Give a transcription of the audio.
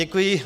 Děkuji.